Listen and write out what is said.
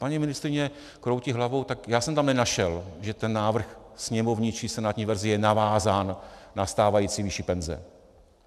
Paní ministryně kroutí hlavou, tak já jsem tam nenašel, že ten návrh sněmovní či senátní verze je navázán na stávající výši penze.